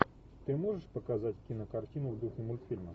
ты можешь показать кинокартину в духе мультфильма